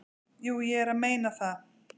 """Jú, ég er að meina það."""